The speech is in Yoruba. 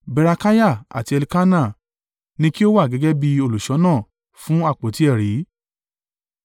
Berekiah àti Elkana ni kí ó wà gẹ́gẹ́ bí olùṣọ́nà fún àpótí ẹ̀rí.